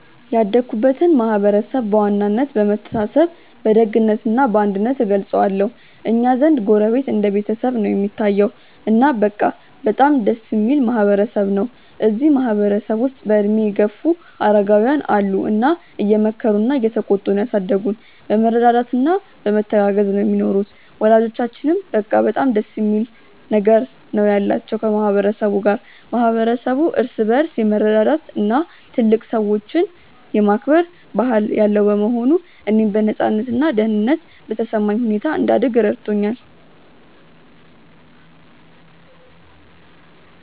ያደግኩበትን ማህበረሰብ በዋናነት በመተሳሰብ በደግነት እና በአንድነት እገልጸዋለሁ። እኛ ዘንድ ጎረቤት እንደ ቤተሰብ ነው እሚታየዉ። እና በቃ በጣም ደስ እሚል ማህበረ ሰብ ነው። እዚህ ማህበረ ሰብ ውስጥ በእድሜ የገፉ አረጋውያን አሉ እና እየመከሩና እየተቆጡ ነው ያሳደጉን። በመረዳዳት እና በመተጋገዝ ነው ሚኖሩት። ወላጆቻችንም በቃ በጣም ደስ የሚል ነገር ነው ያላቸው ከ ማህበረ ሰቡ ጋር። ማህበረሰቡ እርስ በርስ የመረዳዳት እና ትልልቅ ሰዎችን የማክበር ባህል ያለው በመሆኑ፣ እኔም በነፃነት እና ደህንነት በተሰማኝ ሁኔታ እንድደግ ረድቶኛል።